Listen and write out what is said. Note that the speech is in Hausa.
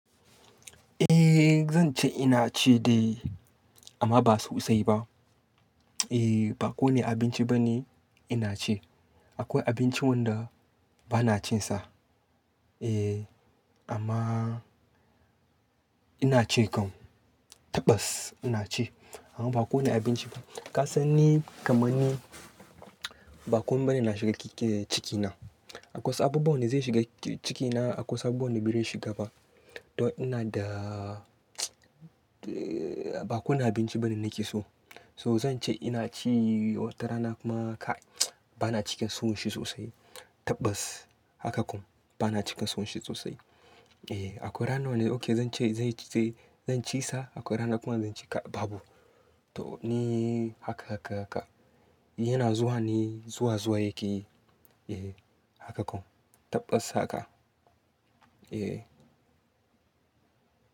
Eh zan ce ina ci dai amma ba sosai ba. Eh ba kowane abinci bane ina ci. Akwai abinci wanda bana cin sa. Eh amma ina cin kam, tabbas ina ci amma ba kowane abinci ba. Ka san ni kaman ni ba komai bane na shiga cikin ciki na. Akwai su abubuwa wanda zai shiga cikin ciki na, akwai su abubuwa wanda bare shiga ba. To ina da ba kowane abinci bane nake so. So zan ce ina ci wata rana kuma ka bana cika son shi sosai. Tabbas haka kam bana cika son shi sosai. Eh akwai ranar wanda okay zan ce zai, zan ci sa akwai rana kuma zan ce ka babu. To ni haka, haka, haka. Yana zuwa ne, zuwa zuwa yake yi. Eh haka kam tabbas haka. Eh.